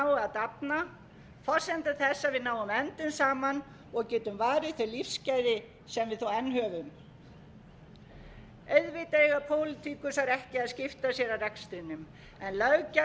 dafna forsenda þess að við náum endum saman og getum varið þau lífsgæði sem við þó enn höfum auðvitað eiga pólitíkusar ekki að skipta sér af rekstrinum en löggjafinn